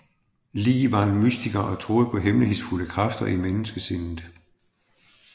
Lie var en mystiker og troede på hemmelighedsfulde kræfter i menneskesindet